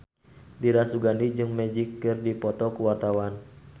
Dira Sugandi jeung Magic keur dipoto ku wartawan